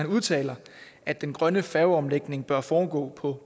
udtaler at den grønne færgeomlægning bør foregå på